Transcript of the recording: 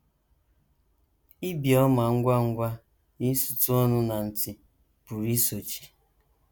Ibi ọma ngwa ngwa na isutụ ọnụ na ntì pụrụ isochi.